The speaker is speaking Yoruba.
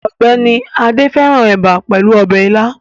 Ọgbẹni Ade fẹrãn eba pelu ọbẹ ila